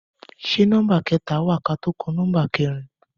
Ṣé nọmba kẹta wa kátó kan nọmba kẹrin?